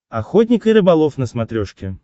охотник и рыболов на смотрешке